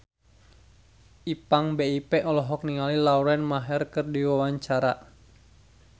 Ipank BIP olohok ningali Lauren Maher keur diwawancara